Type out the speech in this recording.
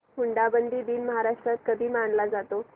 हुंडाबंदी दिन महाराष्ट्रात कधी मानला जातो